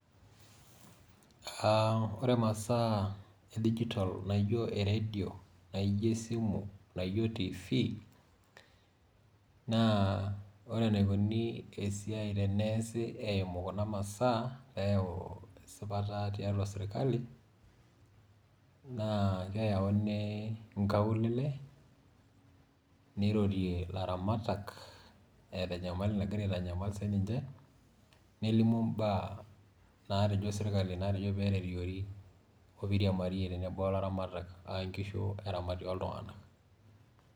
Ah ore imasaa edijitol naijo erdio, naijo esimu, naijo TV,naa ore enikoni esiai teneesi eimu kuna masaa, peyau esipata tiatua sirkali, na keyauni nkaulele, nirorie laramatak, eta enyamali nagira aitanyamal sinche, nelimu imbaa natejo sirkali natejo peereriori, opiriamarie tenebo na laramatak,a nkishu eramati oltung'anak.